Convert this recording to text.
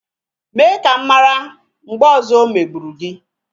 Mee ka m mara mgbe ọzọ o megburu gị